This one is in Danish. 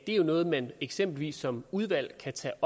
er noget man eksempelvis som udvalg kan tage